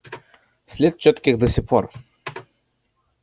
след чёткий до сих пор